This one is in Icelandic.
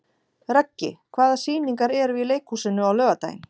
Röggi, hvaða sýningar eru í leikhúsinu á laugardaginn?